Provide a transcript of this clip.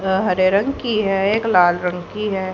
अह हरे रंग की है एक लाल रंग की है।